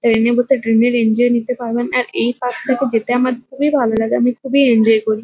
Train - এ বসে train - এর এনজয় নিতে পারবেন। আর এই পার্ক - টাতে যেতে আমার খুবই ভালো লাগে। আমি খুবই এনজয় করি ।